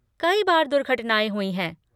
कई बार दुर्घटनाएँ हुई हैं।